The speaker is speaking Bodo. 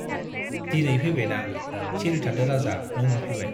दिनै फैबायना, सिरि थादो राजा न' मोनफैबाय।